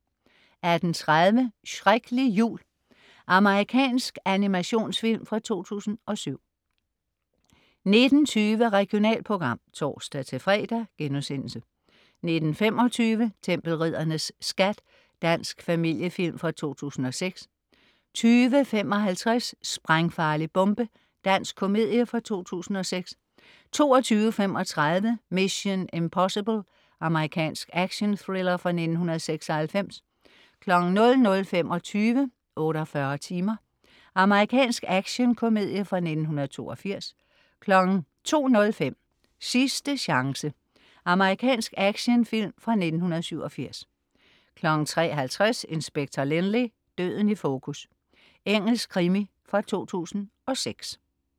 18.30 Shreklig jul. Amerikansk animationsfilm fra 2007 19.20 Regionalprogram (tors-fre)* 19.25 Tempelriddernes Skat. Dansk familiefilm fra 2006 20.55 Sprængfarlig bombe. Dansk komedie fra 2006 22.35 Mission: Impossible. Amerikansk actionthriller fra 1996 00.25 48 timer. Amerikansk actionkomedie fra 1982 02.05 Sidste chance. Amerikansk actionfilm fra 1987 03.50 Inspector Lynley - døden i fokus. Engelsk krimi fra 2006